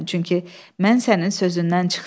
çünki mən sənin sözündən çıxdım.